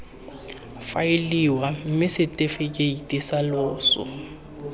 faeliwa mme setefikeiti sa loso